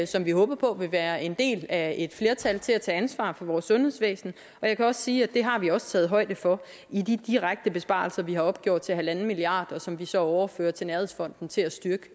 som vi håber på vil være en del af et flertal til at tage ansvar for vores sundhedsvæsen og jeg kan også sige at det har vi også taget højde for i de direkte besparelser vi har opgjort til at være en milliard kr og som vi så overfører til nærhedsfonden til at styrke